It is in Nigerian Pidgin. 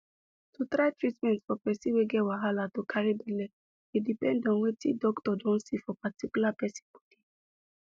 to try treatment for person wey get wahala to carry belle dey depend on wetic doctor don see for particular person body